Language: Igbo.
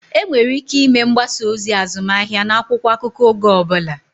Enwere ike ịme mgbasa ozi azụmahịa n'akwụkwọ akụkọ oge ọ bụla